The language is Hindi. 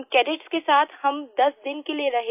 उन कैडेट्स के साथ हम 10 दिन के लिये रहे